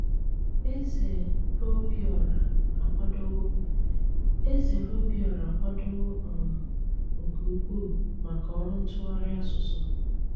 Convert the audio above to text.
Ézé RÓbíóráá ákwádówó Ézé RÓbíóráá ákwádówó um nké úkwú mákà ọrụ ntúghárí ásụsụ.